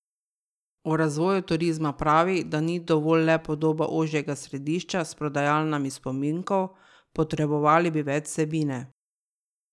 O razvoju turizma pravi, da ni dovolj le podoba ožjega središča s prodajalnami spominkov, potrebovali bi več vsebine.